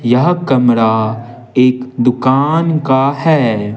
यह कमरा एक दुकान का है।